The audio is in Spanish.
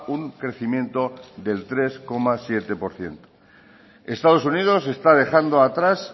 un crecimiento del tres coma siete por ciento estados unidos está dejando atrás